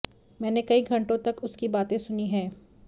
मैंने कई घंटों तक उसकी बातें सुनी हैं